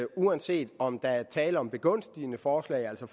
uanset om der er tale om begunstigende forslag altså